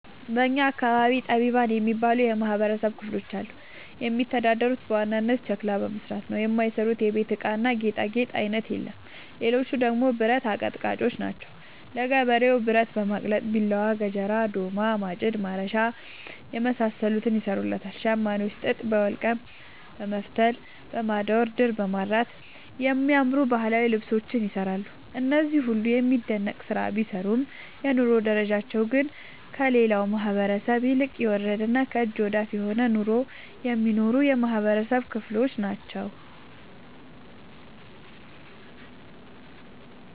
በእኛ አካባቢ ጠቢባን የሚባሉ የማህበረሰብ ክፍሎች አሉ። የሚተዳደሩት በዋናነት ሸክላ በመስራት ነው። የማይሰሩት የቤት እቃና ጌጣጌጥ አይነት የለም ሌቹ ደግሞ ብረት አቀጥቃጭጮች ናቸው። ለገበሬው ብረት በማቅለጥ ቢላዋ፣ ገጀራ፣ ዶማ፣ ማጭድ፣ ማረሻ የመሳሰሉትን ይሰሩለታል። ሸማኔዎች ጥጥ በወልቀም በመፍተል፣ በማዳወር፣ ድር በማድራት የሚያማምሩ ባህላዊ ልብሶችን ይሰራሉ። እነዚህ ሁሉም የሚደነቅ ስራ ቢሰሩም የኑሮ ደረጃቸው ግን ከሌላው ማህበረሰብ ይልቅ የወረደና ከእጅ ወዳፍ የሆነ ኑሮ የሚኖሩ የማህበረሰብ ክሎች ናቸው።